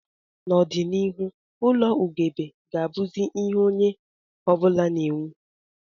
N'ọdịnihu ụlọ ugegbe ga-abụzi ihe onye ọ bụla na-ewu